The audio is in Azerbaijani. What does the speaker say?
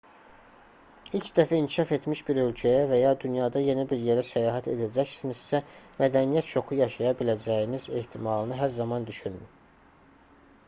i̇lk dəfə inkişaf etmiş bir ölkəyə və ya dünyada yeni bir yerə səyahət edəcəksinizsə mədəniyyət şoku yaşaya biləcəyiniz ehtimalını hər zaman düşünün